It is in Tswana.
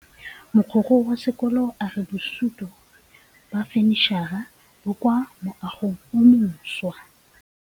Mogokgo wa sekolo a re bosutô ba fanitšhara bo kwa moagong o mošwa.